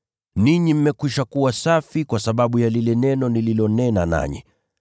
Ninyi mmekwisha kuwa safi kwa sababu ya lile neno nililonena nanyi.